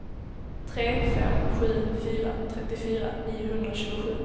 tre fem sju fyra trettiofyra niohundratjugosju